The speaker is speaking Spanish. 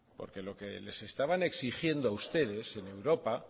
porque lo que les estaban exigiendo a ustedes en europa